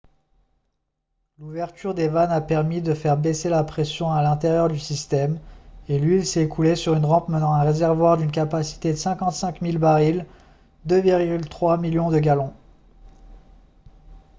l'ouverture des vannes a permis de faire baisser la pression à l'intérieur du système et l'huile s'est écoulée sur une rampe menant à un réservoir d'une capacité de 55 000 barils 2,3 millions de gallons